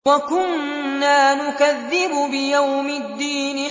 وَكُنَّا نُكَذِّبُ بِيَوْمِ الدِّينِ